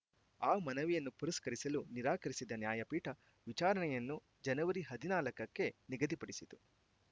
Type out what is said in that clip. ಆ ಮನವಿಯನ್ನು ಪುರಸ್ಕರಿಸಲು ನಿರಾಕರಿಸಿದ ನ್ಯಾಯಪೀಠ ವಿಚಾರಣೆಯನ್ನು ಜನವರಿ ಹದಿನಾಲ್ಕ ಕ್ಕೆ ನಿಗದಿಪಡಿಸಿತು